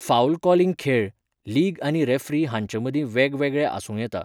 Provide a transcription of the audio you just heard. Foul calling खेळ, league आनी referee हांचेमदीं वेगवेगळें आसूं येता.